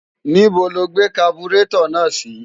ní́bo lo gbé kaburétọ̀ náà sí?